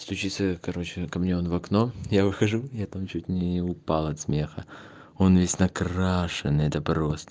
стучится короче ко мне он в окно я выхожу я там чуть не упал от смеха он весь накрашенный это просто